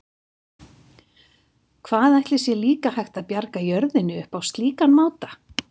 Hvað ætli sé líka hægt að bjarga jörðinni upp á slíkan máta?